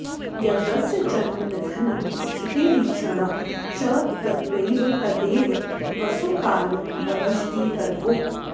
यद्यस्य जन्म निधनं स्थितिरीक्षणं च तद्वै तदेव वसुकालवदष्टितर्वोः